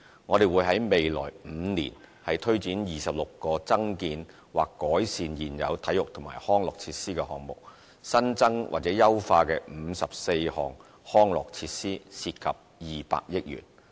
我們會在未來5年推展26個增建或改善現有體育及康樂設施的項目，新增或優化54項康體設施，涉及200億元。